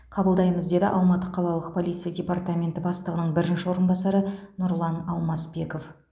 қабылдаймыз деді алматы қалалық полиция департаменті бастығының бірінші орынбасары нұрлан алмасбеков